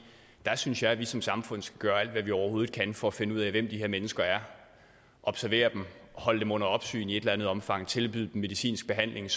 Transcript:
der synes jeg vi som samfund skal gøre alt hvad vi overhovedet kan for at finde ud af hvem de her mennesker er og observere dem holde dem under opsyn i et eller andet omfang tilbyde dem medicinsk behandling og